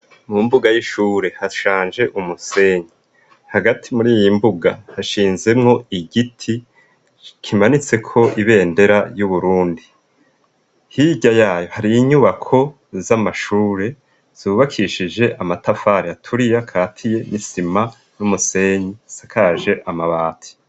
mumbuga y'ishure hashanje umusenyi hagati muri iyimbuga hashinzemwo igiti kimanitse k' ibendera y'uburundi hirya yayo hari inyubako z'amashure zubakishije amatafari aturiye katiye n'isima n'umusenyi sakaje amabati